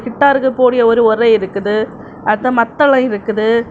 கிட்டாருக்கு போட ஒரு ஒறை இருக்குது அடுத்து மத்தளம் இருக்குது.